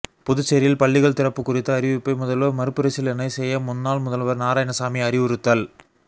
புதுச்சேரியில் பள்ளிகள் திறப்பு குறித்த அறிவிப்பை முதல்வர் மறுபரிசீலனை செய்ய முன்னாள் முதல்வர் நாராயணசாமி அறிவுறுத்தல்